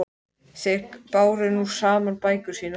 Þeir báru nú saman bækur sínar.